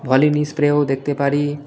ভলিনি স্প্রেও দেখতে পারি।